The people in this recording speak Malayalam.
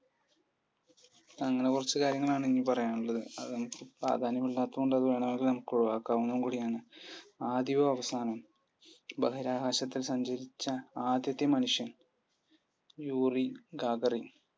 അങ്ങനെക്കുറച്ചു കാര്യങ്ങളാണ് ഇനി പറയാനുള്ളത്പ്രാധാന്യമില്ലാത്തതുകൊണ്ട് അത് വേണേൽ നമുക്ക് ഒഴുവാക്കാവുന്നതുകൂടിയാണ്ആദ്യവും അവസാനവും ബഹിരാകാശത്ത് സഞ്ചരിച്ച ആദ്യത്തെ മനുഷ്യൻ? Yuri Gagarin